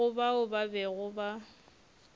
go bao ba bego ba